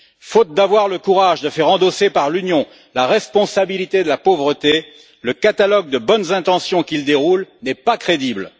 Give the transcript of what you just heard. Faute d'avoir le courage de faire endosser à l'Union la responsabilité de la pauvreté, le catalogue de bonnes intentions qu'il déroule n'est pas crédible.